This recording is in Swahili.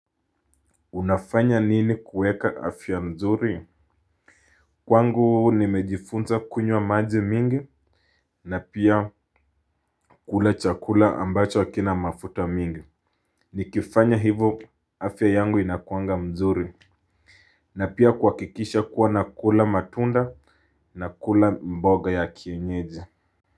Unafanya nini kuweka afya mzuri? Kwangu nimejifunza kunywa maji mingi na pia kula chakula ambacho hakina mafuta mingi. Nikifanya hivo afya yangu inakuanga mzuri. Na pia kuhakikisha kuwa nakula matunda nakula mboga ya kienyezi.